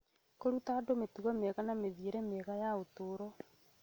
Kũruta andũ mĩtugo mĩega na mĩthiĩre mĩega ya ũtũũro